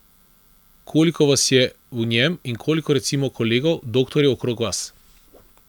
Koliko vas je v njem in koliko recimo kolegov doktorjev okrog vas?